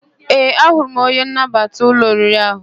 Ee, ahụrụ m onye nnabata ụlọ oriri ahụ.